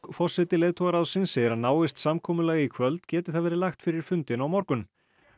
forseti leiðtogaráðsins segir að náist samkomulag í kvöld geti það verið lagt fyrir fundinn á morgun